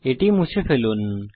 এখন এটি মুছে ফেলুন